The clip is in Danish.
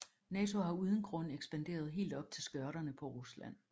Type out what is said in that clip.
Nato har uden grund ekspanderet helt op under skørterne på Rusland